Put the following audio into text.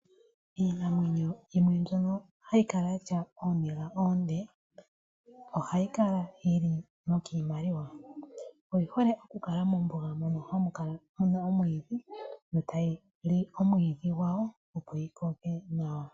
Iinamwenyo yimwe mbyono hayi kala yatya ooniga oonde . Ohayi kala yili nokiimaliwa . Oyi hole oku kala mombuga mono muna omwiidhi . Yo tayi li omwiidhi opo yikoke nawa.